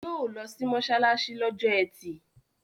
Yóò lọ sí mọ́ṣáláṣí lọ́jọ́ ẹtì